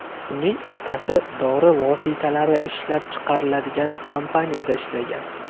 Uning otasi dori vositalari ishlab chiqariladigan kompaniyada ishlagan.